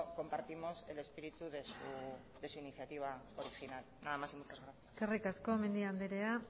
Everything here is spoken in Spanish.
compartimos el espíritu de su iniciativa original nada más y muchas gracias eskerrik asko mendia andrea